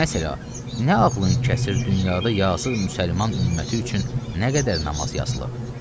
Məsələn, nə ağlın kəsir, dünyada yazıq müsəlman ümməti üçün nə qədər namaz yazılıb.